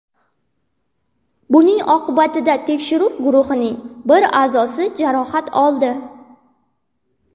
Buning oqibatida tekshiruv guruhining bir a’zosi jarohat oldi.